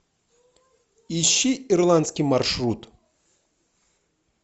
ищи ирландский маршрут